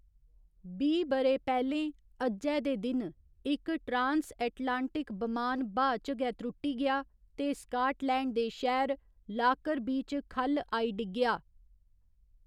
बीह् ब'रे पैह्‌लें अज्जै दे दिन, इक ट्रान्स ऐटलांटिक बमान ब्हाऽ च गै त्रुट्टी गेआ ते स्काटलैण्ड दे शैह्‌र लाकरबी च ख'ल्ल आई डिग्गेआ।